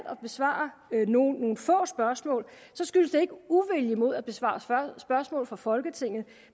at besvare nogle få spørgsmål så skyldes det ikke uvilje mod at besvare spørgsmål for folketinget